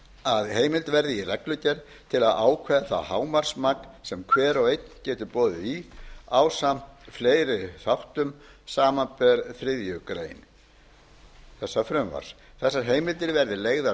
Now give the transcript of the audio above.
að heimild verði í reglugerð til að ákveða hámarksmagn sem hver og einn getur boðið í ásamt fleiri þáttum samanber þriðju grein þessa frumvarps þessar heimildir verði leigðar